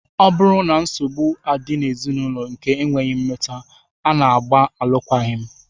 Ọ bụrụ na nsogbu adị n'ezinụlọ nke ekweghị mmeta, a na-agba alụkwaghị m